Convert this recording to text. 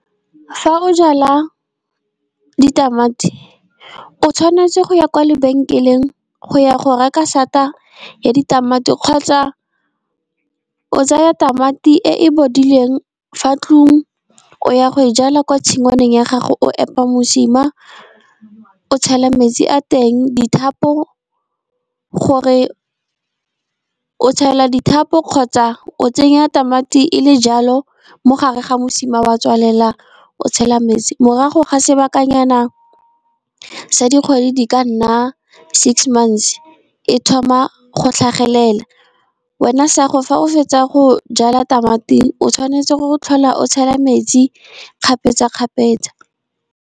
Fa o jala ditamati, o tshwanetse go ya kwa lebenkeleng go ya go reka sata ya ditamati, kgotsa o tsaya tamati e e bodileng fa tlung. O ya go e jala kwa tshingwaneng ya gago, o epa mosima o tshela metsi a teng, o tshela dithapo, kgotsa o tsenya tamati e le jalo mogare ga mosima. O a tswalela o tshela metsi morago ga sebakanyana sa dikgwedi di ka nna six months, e thoma go tlhagelela, wena sa gago fetsa go jala tamati, o tshwanetse go tlhola o tshela metsi kgapetsa-kgapetsa.